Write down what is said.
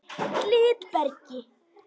Glitbergi